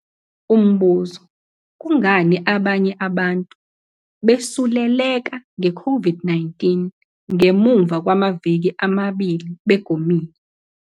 Umbuzo- Kungani abanye abantu besuleleka ngeCOVID-19 ngemuva kwamaviki amabili begomile?